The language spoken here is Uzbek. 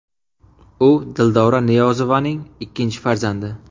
U Dildora Niyozovaning ikkinchi farzandi.